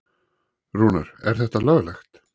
Rúnar: Er þetta löglegt?